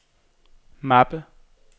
mappe